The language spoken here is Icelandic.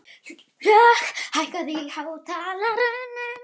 Hlökk, hækkaðu í hátalaranum.